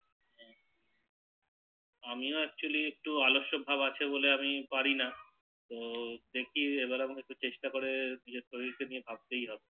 আমিও এক্চুয়াল্লি একটু অলস ভাব আছে বলে আমি পারিনা তো দেখি এবার একটু চেষ্টা করে নিজের শরীর কে নিয়ে ভাবতে হবে